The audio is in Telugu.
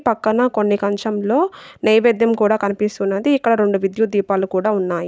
పక్కన కొన్ని కంచంలో నైవేద్యం కూడా కనిపిస్తున్నది ఇక్కడ రెండు విద్యుత్ దీపాలు కూడా ఉన్నాయి.